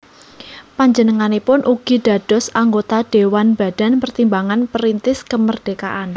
Panjenenganipun ugi dados anggota Dhéwan Badan Pertimbangan Perintis Kemerdekaan